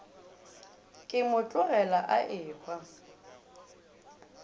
ke mo tlogela a ehwa